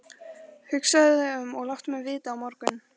Hugsaðu þig um og láttu mig vita á morgun.